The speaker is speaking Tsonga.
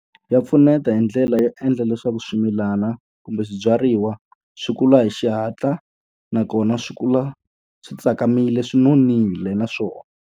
Ya pfuneta hi ndlela yo endla leswaku swimilana kumbe swibyariwa swi kula hi xihatla, nakona swi kula swi tsakamile swi nonile na swona.